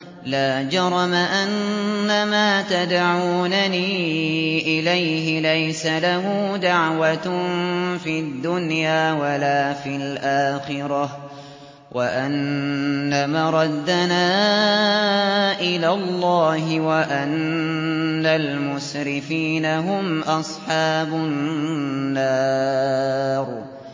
لَا جَرَمَ أَنَّمَا تَدْعُونَنِي إِلَيْهِ لَيْسَ لَهُ دَعْوَةٌ فِي الدُّنْيَا وَلَا فِي الْآخِرَةِ وَأَنَّ مَرَدَّنَا إِلَى اللَّهِ وَأَنَّ الْمُسْرِفِينَ هُمْ أَصْحَابُ النَّارِ